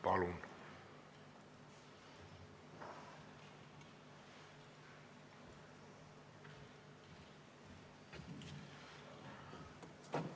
Palun!